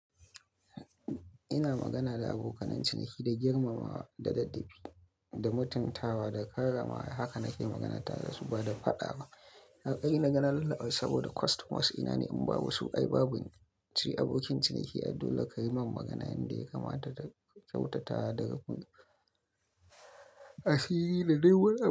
Ina magana da abokanen ciniki da girmamawa da daddafi da mutuntawa da karamawa. Haka nake magana tare da su ba da faɗa ba. Hakkin nagana lallabe saboda customers ina ne in ba basu ai ba buni. Abokin ciniki a dole ka yi min magana yanda ya kamata kyautata daga ku, asiri da dai wani.